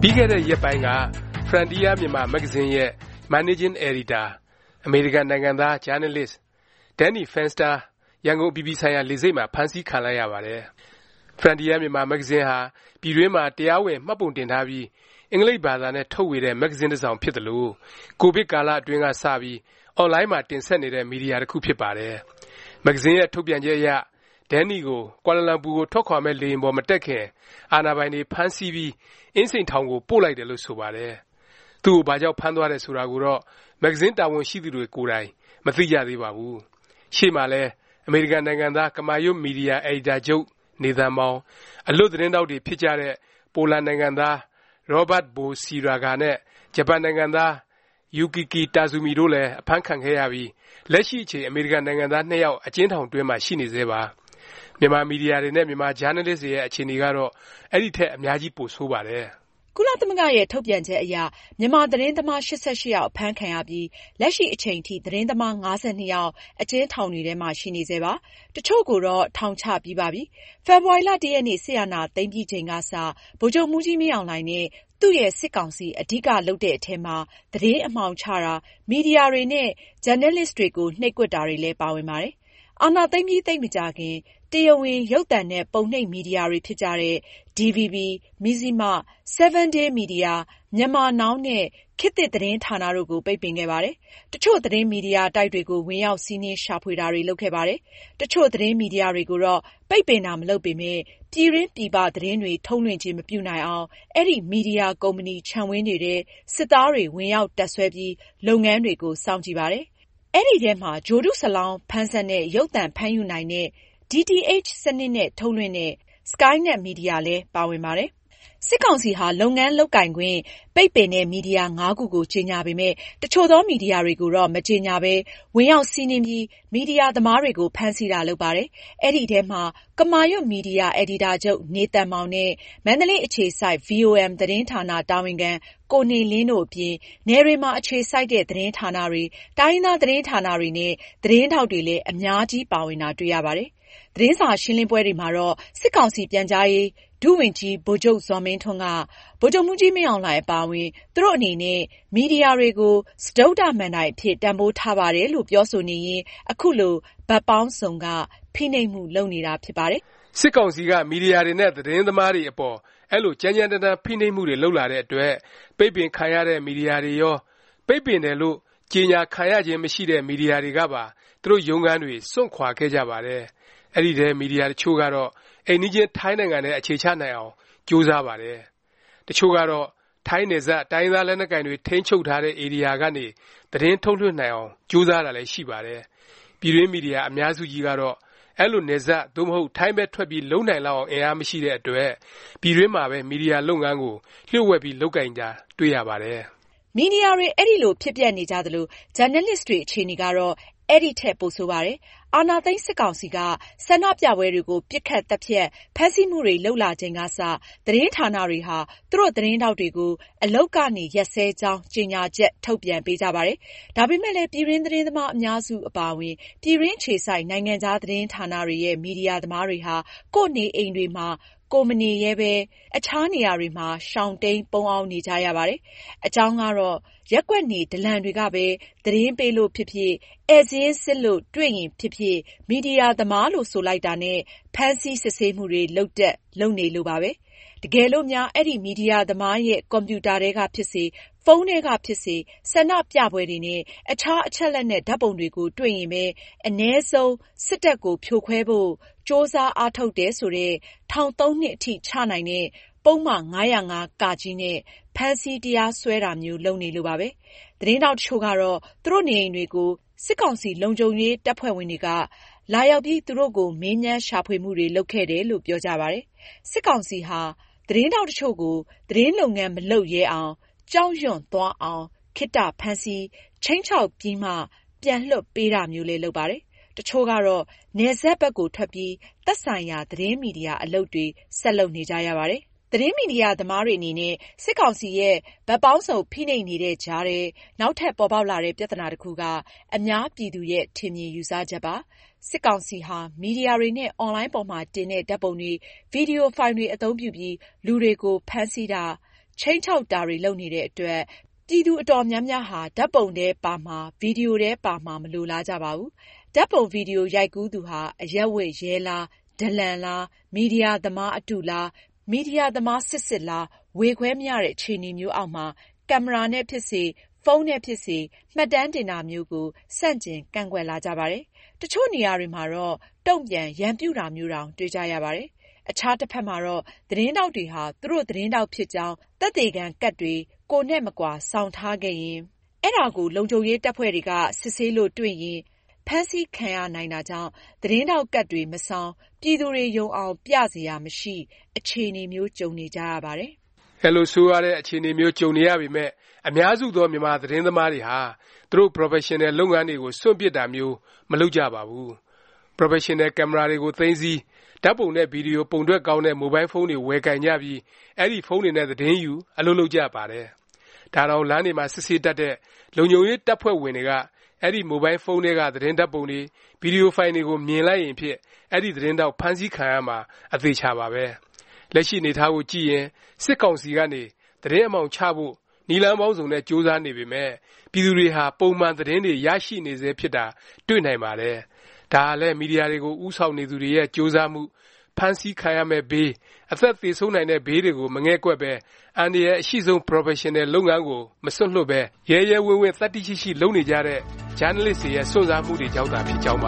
ပြီးခဲ့တဲ့ ရက်ပိုင်းက Frontier Myanmar မဂ္ဂဇင်းရဲ့ မန်နေးဂျင်း အယ်ဒီတာ အမေရိကန် နိုင်ငံသား ဂျာနယ်လစ် Danny Fenster ရန်ကုန် အပြည်ပြည်ဆိုင်ရာ လေဆိပ်မှာ ဖမ်းဆီးခံလိုက်ရပါတယ်။ Frontier Myanmar မဂ္ဂဇင်းဟာ ပြည်တွင်းမှာ တရားဝင် မှတ်ပုံတင်ထားပြီး အင်္ဂလိပ်ဘာသာနဲ့ ထုတ်ဝေတဲ့ မဂ္ဂဇင်း တစောင်ဖြစ်သလို ကိုဗစ် ကာလအတွင်းက စပြီး အွန်လိုင်းမှာ တင်ဆက်နေတဲ့ မီဒီယာ တခုဖြစ်ပါတယ်။ မဂ္ဂဇင်းရဲ့ ထုတ်ပြန်ချက်အရ ဒဲန်နီကို ကွာလာလမ်ပူ ကို ထွက်ခွာမယ့် လေယာဉ်ပေါ် မတက်ခင် အာဏာပိုင်တွေဖမ်းဆီးပြီး အင်းစိန်ထောင်ကို ပို့လိုက်တယ်လို့ ဆိုပါတယ်။ သူ့ကို ဘာကြောင့် ဖမ်းသွားတယ် ဆိုတာကိုတော့ မဂ္ဂဇင်း တာဝန်ရှိသူတွေကိုယ်တိုင် မသိကြသေးပါဘူး။ ရှေ့မှာလည်း အမေရိကန် နိုင်ငံသား ကမာရွတ်မီဒီယာ အယ်ဒီတာချုပ် နေသန်မောင်၊ အလွတ်သတင်းထောက်တွေ ဖြစ်ကြတဲ့ ပိုလန်နိုင်ငံသား ရောဘတ်ဘိုဆီရာဂါနဲ့ ဂျပန်နိုင်ငံသား ယူကီကီ တာဇူမီတို့လည်း အဖမ်းခံခဲ့ရပြီး လက်ရှိအချိန် အမေရိကန် နိုင်ငံသား ၂ ယောက် အကျဉ်းထောင်တွင်းမှာ ရှိနေဆဲပါ။ မြန်မာ မီဒီယာတွေနဲ့ မြန်မာ ဂျာနယ်လစ်တွေရဲ့ အခြေအနေကတော့ အဲဒီထက် အများကြီး ပိုဆိုးပါတယ်။ ကုလသမဂ္ဂရဲ့ ထုတ်ပြန်ချက်အရ မြန်မာ သတင်းသမား ၈၈ ယောက် အဖမ်းခံရပြီး လက်ရှိ အချိန်ထိ သတင်းသမား ၅၂ ယောက် အကျဉ်းထောင်တွေထဲမှာ ရှိနေဆဲပါ။ တစ်ချို့ကိုတော့ ထောင်ချပြီးပါပြီ။ ဖေဖေါ်ဝါရီ ၁ ရက်နေ့ စစ်အာဏာသိမ်းပြီးချိန်ကစ ဗိုလ်ချုပ်မှူးကြီး မင်းအောင်လှိုင်နဲ့ သူ့ရဲ့ စစ်ကောင်စီ အဓိကထား လုပ်တဲ့အထဲမှာ သတင်းအမှောင်ချတာ၊ မီဒီယာတွေနဲ့ ဂျာနယ်လစ်တွေကို နှိပ်ကွပ်တာလည်း ပါဝင်ပါတယ်။ အာဏာသိမ်းပြီး သိပ်မကြာခင် တရားဝင် ရုပ်သံနဲ့ ပုံနှိပ်မီဒီယာတွေ ဖြစ်ကြတဲ့ DVB, မဇ္ဇျိမ၊ 7 Days မီဒီယာ၊ Myanmar Now နဲ့ ခေတ်သစ် သတင်းဌာန တို့ကို ပိတ်ပင်ခဲ့ပါတယ်။ တချို့ သတင်းမီဒီယာတိုက်တွေကို ဝင်ရောက် စီးနင်း ရှာဖွေတာ လုပ်ခဲ့ပါတယ်။ တချို့ သတင်းမီဒီယာတွေကိုတော့ ပိတ်ပင်တာ မလုပ်ပေမယ့် ပြည်တွင်း၊ ပြည်ပ သတင်းတွေ ထုတ်လွှင့်ခြင်း မပြုနိုင်အောင် အဲဒီ မီဒီယာ ကုမ္ပဏီ ခြံဝင်းတွေထဲ စစ်သားတွေ ဝင်ရောက် တပ်စွဲပြီး လုပ်ငန်းတွေကို စောင့်ကြည့်ပါတယ်။ အဲဒီထဲမှာ ဂြိုလ်တုစလောင်း ဖမ်းစက်နဲ့ ရုပ်သံဖမ်းယူနိုင်တဲ့ DTH စနစ်နဲ့ ထုတ်လွှင့်တဲ့ စကိုင်းနက် မီဒီယာ ပါဝင်ပါတယ်။ စစ်ကောင်စီဟာ လုပ်ငန်းလုပ်ကိုင်ခွင့် ပိတ်ပင်တဲ့ မီဒီယာ ၅ ခုကို ကြေညာပေမယ့် တစ်ချို့သော မီဒီယာတွေကိုတော့ မကြေညာပဲ ဝင်ရောက် စီးနင်းပြီး မီဒီယာ သမားတွေကို ဖမ်းဆီးတာ လုပ်ပါတယ်။ အဲဒီအထဲမှာ ကမာရွတ် မီဒီယာ အယ်ဒီတာချုပ် နေသန်မောင်နဲ့ မန္တလေး အခြေစိုက် VOM သတင်းဌာန တာဝန်ခံ ကိုနေလင်းတို့အပြင် နယ်တွေမှာ အခြေစိုက်တဲ့ သတင်းဌာနတွေ၊ တိုင်းရင်းသား သတင်းဌာနတွေနဲ့ သတင်းထောက်တွေလည်း အများကြီး ပါဝင်တာ တွေ့ရပါတယ်။ သတင်းစာ ရှင်းလင်းပွဲတွေမှာတော့ စစ်ကောင်စီ ပြန်ကြားရေး ဒုဝန်ကြီး ဗိုလ်ချုပ် ဇော်မင်းထွန်းက ဗိုလ်ချုပ်မှူးကြီး မင်းအောင်လှိုင် အပါအဝင် သူတို့ အနေနဲ့ မီဒီယာတွေကို စတုတ္ထ မဏ္ဍိုင်အဖြစ် တန်ဖိုးထားပါတယ်လို့ ပြောဆိုနေရင်း အခုလို ဘက်ပေါင်းစုံက ဖိနှိပ်မှု လုပ်နေတာ ဖြစ်ပါတယ်။ စစ်ကောင်စီက မီဒီယာတွေနဲ့ သတင်းသမားတွေအပေါ် အဲလို ကြမ်းကြမ်းတမ်းတမ်း ဖိနှိပ်မှုတွေ လုပ်လာတဲ့အတွက် ပိတ်ပင်ခံရတဲ့ မီဒီယာတွေရော၊ ပိတ်ပင်တယ်လို့ ကြေညာခံရခြင်း မရှိတဲ့ မီဒီယာတွေကပါ သူတို့ ရုံးခန်းတွေကို စွန့်ခွာခဲ့ကြပါတယ်။ မီဒီယာ တချို့ကတော့ အိမ်နီးချင်း ထိုင်းနိုင်ငံထဲ အခြေချနိုင်အောင် ကြိုးစားပါတယ်။ တချို့ကတော့ ထိုင်းနယ်စပ် တိုင်းရင်းသား လက်နက်ကိုင်တွေ ထိန်းချုပ်တဲ့ ဧရိယာကနေ သတင်းထုတ်လွှင့်နိုင်အောင် ကြိုးစားတာလည်း ရှိပါတယ်။ ပြည်တွင်း မီဒီယာ အများစုကြီးကတော့ အဲလို နယ်စပ် သို့မဟုတ် ထိုင်းဘက် ထွက်ပြီး လုပ်နိုင်လောက်အောင် အင်အား မရှိတဲ့အတွက် ပြည်တွင်းမှာပဲ မီဒီယာ လုပ်ငန်းကို လျှို့ဝှက်ပြီး လုပ်ကိုင်တာ တွေ့ကြရပါတယ်။ မီဒီယာတွေ အဲလို ဖြစ်ပျက်နေကြသလို၊ ဂျာနယ်လစ်တွေ အခြေအနေကတော့ အဲဒီထက် ပိုဆိုးပါတယ်။ အာဏာသိမ်း စစ်ကောင်စီက ဆန္ဒပြပွဲတွေကို ပစ်ခတ် သတ်ဖြတ်၊ ဖမ်းဆီးမှုတွေလုပ်လာချိန်ကစ သတင်းဌာနတွေဟာ သူတို့ သတင်းထောက်တွေကို အလုပ်ကနေ ရပ်စဲကြောင်း ကြေညာချက် ထုတ်ပြန်ပေးကြပါတယ်။ ဒါပေမယ့်လည်း ပြည်တွင်း သတင်းသမား အများစုကြီး အပါအဝင် ပြည်တွင်း အခြေစိုက် နိုင်ငံခြား သတင်းဌာနတွေရဲ့ မီဒီယာ သမားတွေဟာ ကိုယ့်နေအိမ်တွေမှာ ကိုယ် မနေရဲပဲ အခြားနေရာတွေမှာ ရှောင်တိမ်း ပုန်းအောင်း နေကြရပါတယ်။ အကြောင်းကတော့ ရပ်ကွက်နေ ဒလန်တွေကပဲ သတင်းပေးလို့ဖြစ်ဖြစ်၊ ဧည့်စာရင်းစစ်လို့ တွေ့ရင်ဖြစ်ဖြစ် မီဒီယာသမားလို့ ဆိုလိုက်တာနဲ့ ဖမ်းဆီး စစ်ဆေးမှုတွေ လုပ်တတ်၊ လုပ်နေလို့ပါပဲ။ တကယ်လို့များ အဲဒီ မီဒီယာသမားရဲ့ ကွန်ပျူတာထဲကဖြစ်စေ၊ ဖုန်းထဲကဖြစ်စေ၊ ဆန္ဒပြပွဲတွေနဲ့ အခြား အချက်အလက်နဲ့ ဓာတ်ပုံတွေကို တွေ့ရင်ပဲ အနည်းဆုံး စစ်တပ်ကို ဖြိုခွဲဖို့ ကြိုးစားအားထုတ်တယ် ဆိုတဲ့၊ ထောင် ၃ နှစ်အထိ ချနိုင်တဲ့ ပုဒ်မ ၅၀၅(က) နဲ့ ဖမ်းဆီး တရားစွဲတာမျိုး လုပ်နေလို့ပါပဲ။ သတင်းထောက် တချို့ကတော့ သူတို့နေအိမ်တွေကို စစ်ကောင်စီ လုံခြုံရေး တပ်ဖွဲ့ဝင်တွေက လာရောက်ပြီး သူတို့ကို မေးမြန်းရှာဖွေမှုတွေ လုပ်ခဲ့တယ်လို့ ပြောပြကြပါတယ်။ စစ်ကောင်စီဟာ သတင်းထောက် တချို့ကို သတင်းလုပ်ငန်း မလုပ်ရဲအောင်၊ ကြောက်ရွံ့သွားအောင် ခေတ္တဖမ်းဆီး၊ ခြိမ်းခြောက်ပြီးမှ ပြန်လွှတ်ပေးတာမျိုးလည်း လုပ်ပါတယ်။ တချို့ကတော့ နယ်စပ်ဘက်ကို ထွက်ပြီး သက်ဆိုင်ရာ သတင်းမီဒီယာ အလုပ်တွေ ဆက်လုပ်နေကြပါတယ်။ သတင်းမီဒီယာ သမားတွေ အနေနဲ့ စစ်ကောင်စီရဲ့ ဘက်ပေါင်းစုံ ဖိနှိပ်နေတဲ့ကြားထဲ နောက်ထပ် ပေါ်ပေါက်လာတဲ့ ပြသနာ တခုက အများပြည်သူရဲ့ ထင်မြင်ယူဆချက်ပါ။ စစ်ကောင်စီဟာ မီဒီယာတွေနဲ့ အွန်လိုင်းပေါ်မှာ တင်တဲ့ ဓာတ်ပုံတွေ၊ ဗီဒီယိုဖိုင်တွေ အသုံးပြုပြီး လူတွေကို ဖမ်းဆီးတာ၊ ခြိမ်းခြောက်တာတွေ လုပ်နေတဲ့အတွက် ပြည်သူ အတော်များများဟာ ဓာတ်ပုံထဲပါမှာ၊ ဗီဒီယိုထဲ ပါမှာ မလိုလားကြပါဘူး။ ဓာတ်ပုံ၊ ဗီဒီယို ရိုက်ကူးသူဟာ အရပ်ဝတ် ရဲလား၊ ဒလန်လား၊ မီဒီယာသမား အတုလား၊ မီဒီယာသမား စစ်စစ်လား ဝေခွဲမရတဲ့ အခြေအနေမျိုးအောက်မှာ ကင်မရာနဲ့ဖြစ်စေ၊ ဖုန်းနဲ့ဖြစ်စေ မှတ်တမ်းတင်တာမျိုးကို ဆန့်ကျင် ကန့်ကွက်လာကြပါတယ်။ တချို့နေရာတွေမှာတော့ တုန့်ပြန် ရန်ပြုတာမျိုးတောင် တွေ့ကြရပါတယ်။ အခြားတဖက်မှာတော့ သတင်းထောက်တွေဟာ သူတို့ သတင်းထောက်ဖြစ်ကြောင်း သက်သေခံကဒ်တွေ ကိုယ်နဲ့မကွာ ဆောင်ထားခဲ့ရင် အဲဒါကို လုံခြုံရေး တပ်ဖွဲ့တွေက စစ်ဆေးလို့ တွေ့ရင် ဖမ်းဆီးခံရနိုင်တာကြောင့် သတင်းထောက် ကဒ်တွေ မဆောင်၊ ပြည်သူတွေယုံအောင် ပြစရာ မရှိ အခြေအနေမျိုး ကြုံနေကြရပါတယ်။ အဲလို ဆိုးရွားတဲ့ အခြေအနေမျိုး ကြုံနေရပေမယ့် အများစုသော မြန်မာသတင်းသမားတွေဟာ သူတို့ ပရော်ဖက်ရှင်နယ် လုပ်ငန်းတွေကို စွန့်ပစ်တာမျိုး မလုပ်ကြပါဘူး။ ပရော်ဖက်ရှင်နယ် ကင်မရာတွေကို သိမ်းဆည်း၊ ဓာတ်ပုံနဲ့ ဗီဒီယို ပုံထွက်ကောင်းတဲ့ မိုဘိုင်းဖုန်းတွေ ဝယ်ကိုင်ကြပြီး အဲဒီ ဖုန်းတွေနဲ့ သတင်းယူ၊ အလုပ်လုပ်နေကြပါတယ်။ ဒါတောင် လမ်းတွေမှာ စစ်ဆေးတတ်တဲ့ လုံခြုံရေး တပ်ဖွဲ့ဝင်တွေက အဲဒီ မိုဘိုင်းဖုန်းထဲက သတင်းဓာတ်ပုံတွေ၊ ဗီဒီယိုဖိုင်တွေကို မြင်လိုက်ရင်ဖြင့် အဲဒီ သတင်းထောက် ဖမ်းဆီးခံရမှာ အသေအခြာပါပဲ။ လက်ရှိအနေအထားကို ကြည့်ရင် စစ်ကောင်စီကနေ သတင်းအမှောင်ချဖို့ နည်းလမ်းပေါင်းစုံနဲ့ ကြိုးစားနေပေမယ့် ပြည်သူတွေဟာ ပုံမှန် သတင်းတွေ ရရှိနေဆဲဖြစ်တာ တွေ့နိုင်ပါတယ်။ ဒါဟာလည်း မီဒီယာတွေကို ဦးဆောင်နေသူတွေရဲ့ ကြိုးစားမှု၊ ဖမ်းဆီးခံရမယ့်ဘေး၊ အသက်သေဆုံးနိုင်တဲ့ဘေးတွေကို မငဲ့ကွက်ပဲ အန္တရာယ် အရှိဆုံး ပရော်ဖက်ရှင်နယ် လုပ်ငန်းကို မစွန့်လွှတ်ပဲ ရဲရဲဝင့်ဝင့် သတ္တိရှိရှိ လုပ်နေကြတဲ့ ဂျာနယ်လစ်တွေရဲ့ စွန့်စားမှုတွေကြောင့်သာ ဖြစ်ကြောင်းပ